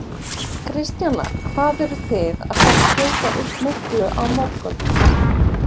Kristjana: Hvað eruð þið að fara skjóta upp miklu á morgun?